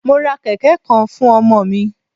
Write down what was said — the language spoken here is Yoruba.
Mo ra kẹ̀kẹ́ kan fún ọmọ mi.